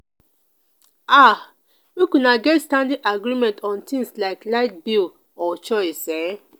um make una get standing agreement on things like light bill or chores um